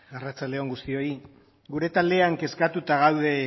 arratsalde on guztioi gure taldean kezkatuta gaude